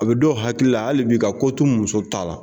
A bɛ dɔw hakili la hali bi ka ko to muso ta la